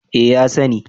Eh, ya sani